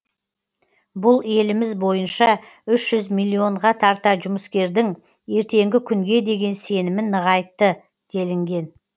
бұл еліміз бойынша үш жүз миллионға тарта жұмыскердің ертеңгі күнге деген сенімін нығайтты делінген